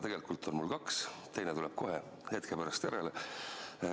Tegelikult on mul kaks küsimust, teine tuleb kohe hetke pärast järele.